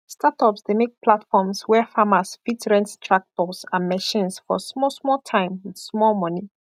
startups dey make platforms where farmers fit rent tractors and machines for smallsmall time with small money